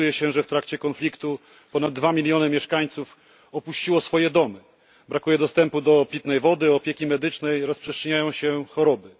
Szacuje się, że w trakcie konfliktu ponad 2 mln mieszkańców opuściło swoje domy, brakuje dostępu do wody pitnej, opieki medycznej, rozprzestrzeniają się choroby.